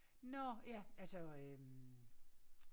Nåh ja altså øh